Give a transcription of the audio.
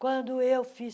Quando eu fiz